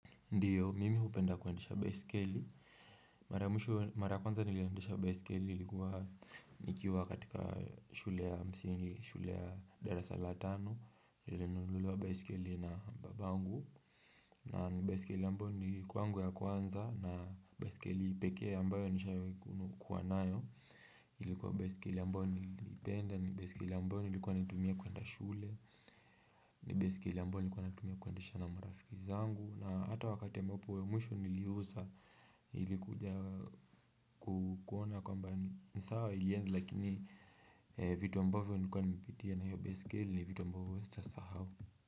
Ndiyo, mimi hupenda kuendesha baisikeli. Mara kwanza niliendesha baisikeli ilikuwa nikiwa katika shule ya msingi, shule ya dara salatano, nili nunuliwa baisikeli na babangu. Na ni baiskeli kwangu ya kwanza na baisikeli ipekee ambayo nishai kuwanayo. Ilikuwa baisikeli ambayo niliipenda, nilikuwa naitumia kuendesha shule, nilikuwa naitumia kualendesha na marafikizangu. Na hata wakati ambapo ya mwisho niliuza nilikuja kuona kwamba nisawa ilienda lakini vitu ambavyo nilikuwa nimepitia na hiyo baiskeli vitu ambavyo sita sahau.